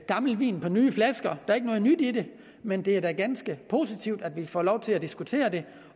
gammel vin på nye flasker er ikke noget nyt i det men det er da ganske positivt at vi får lov til at diskutere det